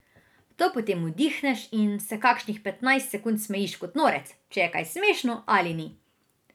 To potem vdihneš in se kakšnih petnajst sekund smejiš kot norec, če je kaj smešno ali ni.